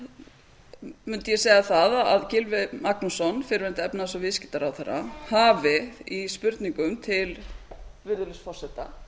kosið mundi ég segja það að gylfi magnússon fyrrverandi efnahags og viðskiptaráðherra hafi í spurningum til virðulegs forseta